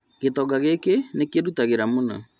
Gĩtonga gĩki nĩkĩrutagĩra mũno